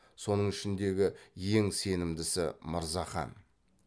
соның ішіндегі ең сенімдісі мырзахан